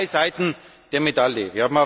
Es gibt zwei Seiten der Medaille.